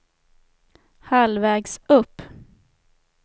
halvvägs upp